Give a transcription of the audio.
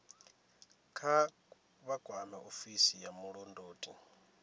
vha kwame ofisi ya vhulondoti